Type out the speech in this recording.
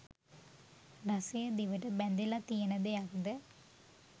රසය දිවට බැඳිල තියෙන දෙයක්ද?